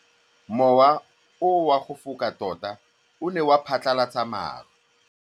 Mowa o wa go foka tota o ne wa phatlalatsa maru.